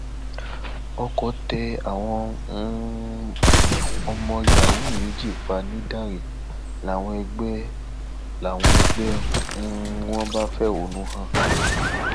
ọkọ tẹ àwọn ọmọ um yahoo méjì pa nìdánrẹ làwọn ẹgbẹ làwọn ẹgbẹ um wọn bá fẹhónú hàn